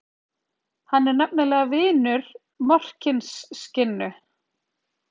Hann er nefnilega vinur Morkinskinnu.